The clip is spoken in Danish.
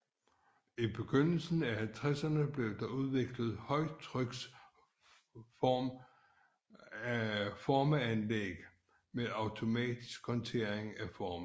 I begyndelsen af halvtredserne blev der udviklet højtryks formeanlæg med automatisk håndtering af forme